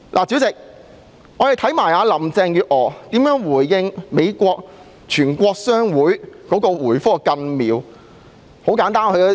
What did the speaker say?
主席，我們看看林鄭月娥如何回覆美國全國商會。